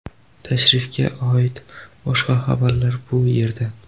Tashrifga oid boshqa xabarlar bu yerda .